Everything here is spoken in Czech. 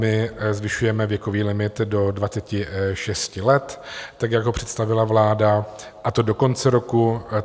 My zvyšujeme věkový limit do 26 let, tak jak ho představila vláda, a to do konce roku.